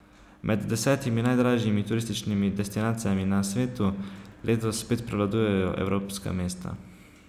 Med desetimi najdražjimi turističnimi destinacijami na svetu letos spet prevladujejo evropska mesta.